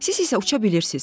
Siz isə uça bilirsiz.